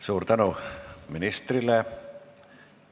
Suur tänu ministrile!